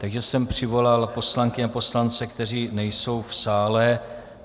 Takže jsem přivolal poslankyně a poslance, kteří nejsou v sále.